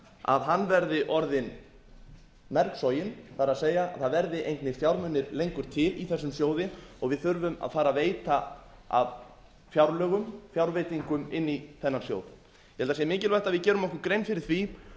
að hann verði orðinn mergsoginn það er það verða engir fjármunir lengur til í þessum sjóði og við þurfum að fara að veita af fjárlögum fjárveitingum inn í þennan sjóð ég held að það sé mikilvægt að við gerum okkur grein fyrir því